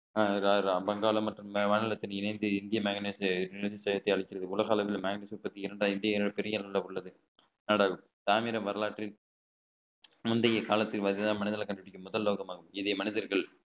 வாங்கலாம் மற்றும் மாநிலத்தில் இணைந்து இந்திய மேக்னைட் தேசத்தை அழிக்கிறது உலக அளவில் மேக்னைட் பெரிய அளவுல உள்ளது ஆனால் தாமிர வரலாற்றில் முந்தைய காலத்துக்கு பாத்தீங்கன்னா மனிதனை கண்டுபிடிக்க முதல் நோக்கமாகும் இதை மனிதர்கள்